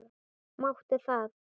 Máttu það?